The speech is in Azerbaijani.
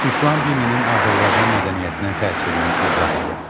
İslam dininin Azərbaycan mədəniyyətinə təsirini izah edin.